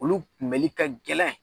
Olu kunbɛli ka gɛlɛn!